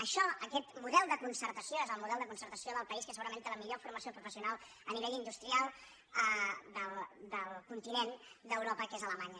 això aquest model de concertació és el model de con·certació del país que segurament té la millor forma·ció professional a nivell industrial del continent d’eu·ropa que és alemanya